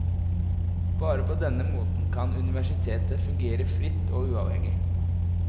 Bare på denne måten kan universitetet fungere fritt og uavhengig.